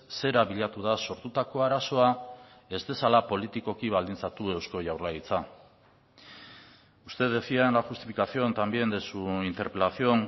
zera bilatu da sortutako arazoa ez dezala politikoki baldintzatu eusko jaurlaritza usted decía en la justificación también de su interpelación